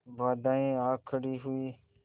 बाधाऍं आ खड़ी हुई